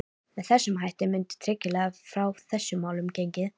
Með þessum hætti mundi tryggilega frá þessum málum gengið.